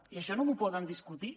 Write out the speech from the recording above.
i això no m’ho poden discutir